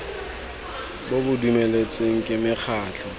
bo bo dumeletsweng ke mekgatlho